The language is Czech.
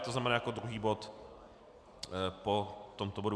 To znamená jako druhý bod po tomto bodu.